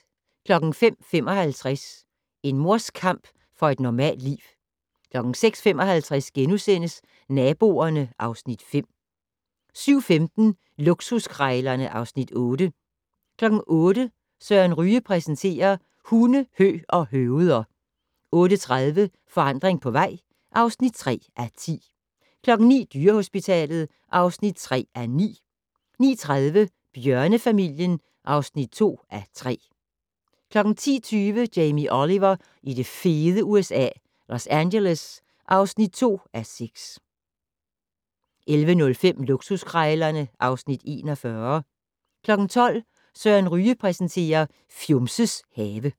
05:55: En mors kamp for et normalt liv 06:55: Naboerne (Afs. 5)* 07:15: Luksuskrejlerne (Afs. 8) 08:00: Søren Ryge præsenterer: Hunde, hø og høveder 08:30: Forandring på vej (3:10) 09:00: Dyrehospitalet (3:9) 09:30: Bjørnefamilien (2:3) 10:20: Jamie Oliver i det fede USA - Los Angeles (2:6) 11:05: Luksuskrejlerne (Afs. 41) 12:00: Søren Ryge præsenterer: Fjumses have